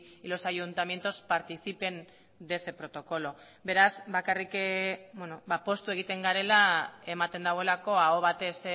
y los ayuntamientos participen de ese protocolo beraz bakarrik poztu egiten garela ematen duelako aho batez